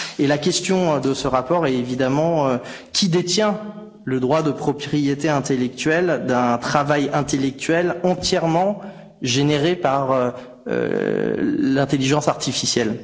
La question de ce rapport est de savoir qui détient le droit de propriété intellectuelle d'un travail intellectuel entièrement généré par l'intelligence artificielle.